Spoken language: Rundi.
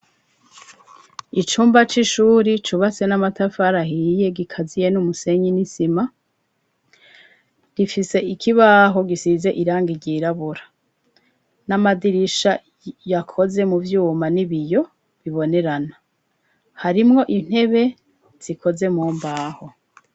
Icumba c'ishuri cubase n'amatafarahiye gikaziye n'umusenyi n'isima rifise ikibaho gisize irangi ryirabura n'amadirisha yakoze mu vyuma n'ibiyo bibonerana harimwo intebe zikoze mu mbaho.